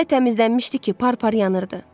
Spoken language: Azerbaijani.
Elə təmizlənmişdi ki, parpar yanırdı.